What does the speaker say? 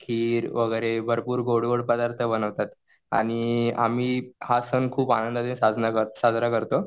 खीर वगैरे भरपूर गोड गोड पदार्थ बनवतात. आणि आम्ही हा सॅन खूप आनंदाने साजरा करतो.